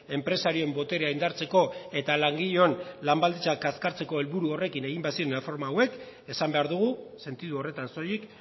enpresarioen boterea indartzeko eta langileon lan baldintzak kaskartzeko helburu horrekin egin baziren erreforma hauek esan behar dugu sentidu horretan soilik